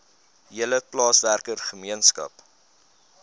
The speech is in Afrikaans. hele plaaswerker gemeenskap